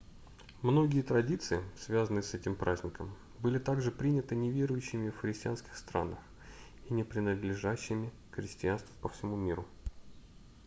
многие традиции связанные с этим праздником были также приняты неверующими в христианских странах и не принадлежащими к христианству по всему миру